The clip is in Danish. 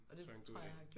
Tror jeg er en god ide